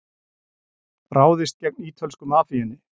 Ráðist gegn ítölsku mafíunni